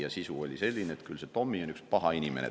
Ja uudise sisu oli selline, et küll see Tommy on üks paha inimene.